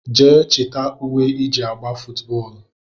Jee chita ùwé iji agba footu bóólú!!!